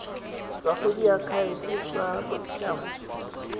tswa go diakhaefe tsa bosetshaba